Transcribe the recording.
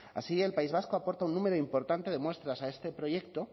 así el país vasco aporta un número importante de muestras a este proyecto